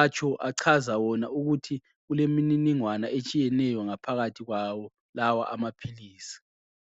atsho achaza wona ukuthi kulemininingwana etshiyeneyo ngaphakathi kwawo lawa amaphilizi.